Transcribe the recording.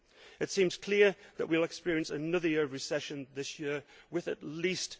It seems clear that we will experience another year of recession this year, with at least